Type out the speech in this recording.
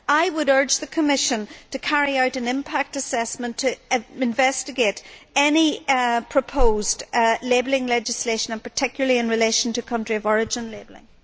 I would urge the Commission to carry out an impact assessment to investigate any proposed labelling legislation, particularly in relation to country of origin labelling.